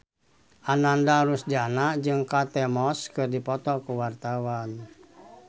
Ananda Rusdiana jeung Kate Moss keur dipoto ku wartawan